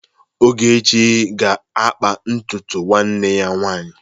Ogechi ga-akpa ntutu ụmụnne ya nwaanyị.